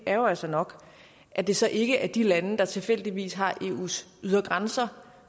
er jo altså nok at det så ikke er de lande der tilfældigvis har eus ydre grænser